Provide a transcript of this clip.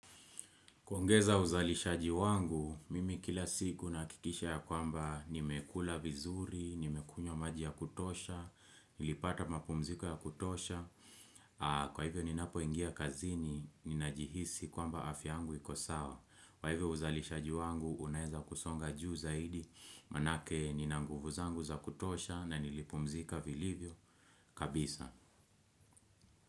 Kuongeza uzalishaji wangu, mimi kila siku nahakikisha ya kwamba nimekula vizuri, nimekunywa maji ya kutosha, nilipata mapumziko ya kutosha, kwa hivyo ninapoingia kazini, ninajihisi kwamba afya yangu iko sawa. Kwa hivyo uzalishaji wangu, unaeza kusonga juu zaidi, manake Nina nguvuzangu za kutosha na nilipumzika vilivyo. Kabisa.